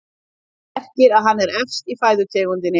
Það merkir að hann er efst í fæðukeðjunni.